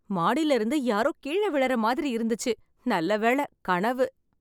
மாடில இருந்து யாரோ கீழ விழற மாதிரி இருந்துச்சு, நல்ல வேள கனவு.